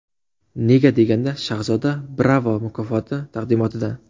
Nega deganda Shahzoda Bravo mukofoti taqdimotida!